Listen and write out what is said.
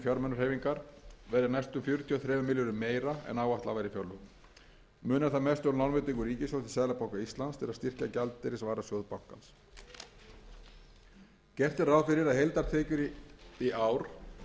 fjármunahreyfingar verði næstum fjörutíu og þremur milljörðum meira en áætlað var í fjárlögum munar þar mest um lánveitingu ríkissjóðs til seðlabanka íslands til að styrkja gjaldeyrisvarasjóð bankans gert er ráð fyrir að heildartekjur í ár verði